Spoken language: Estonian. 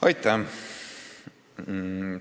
Aitäh!